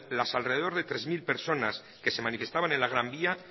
las alrededor de tres mil personas que se manifestaban en la gran vía